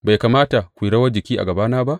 Bai kamata ku yi rawar jiki a gabana ba?